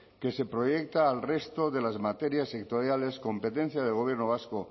que se proyecta al resto de las materias sectoriales competencia del gobierno vasco